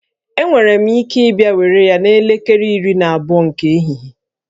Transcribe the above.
Enwere m ike ịbịa were ya n'elekere iri na abụọ nke ehihie